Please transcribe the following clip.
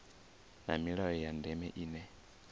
na milayo ya ndeme ine